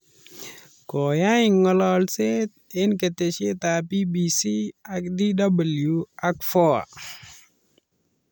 Koyai ngololset en keteshetab BBC ak DW ak Voa